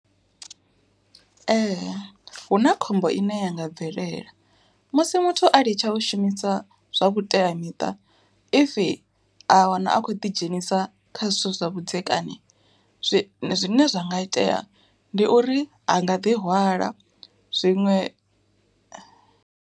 Ee huna khombo ine ya nga bvelela, musi muthu a ḽitsha u shumisa zwa vhuteamiṱa, if a wana a khou ḓidzhenisa kha zwithu zwa vhudzekani zwine zwa nga itea ndi uri a nga ḓi hwala zwiṅwe.